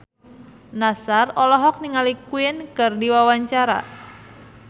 Nassar olohok ningali Queen keur diwawancara